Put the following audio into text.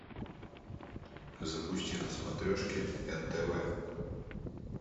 запусти на смотрешке нтв